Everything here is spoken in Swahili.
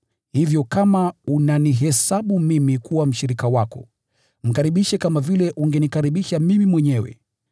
Hivyo kama unanihesabu mimi kuwa mshirika wako, mkaribishe kama vile ungenikaribisha mimi mwenyewe.